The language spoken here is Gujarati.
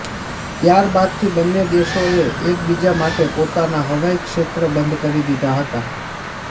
ત્યાર બાદથી બંને દેશોએ એકબીજા માટે પોતાના હવાઇક્ષેત્ર બંધ કરી દીધા હતા